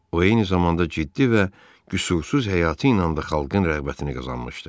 O eyni zamanda ciddi və qüsursuz həyatı ilə də xalqın rəğbətini qazanmışdı.